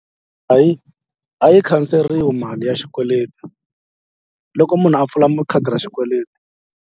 Hayi a yi khanseriwi mali ya xikweleti loko munhu a pfula khadi ra xikweleti.